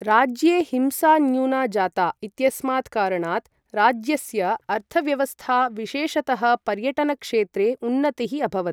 राज्ये हिंसा न्य़ूना जाता इत्यस्मात् कारणात्, राज्यस्य अर्थव्यवस्था विशेषतः पर्यटन क्षेत्रे उन्नतिः अभवत्।